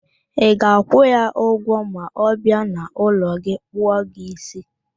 Ị ga-akwụ ya ụgwọ ma ọ bịa n'ụlọ gị kpụọ gị ísí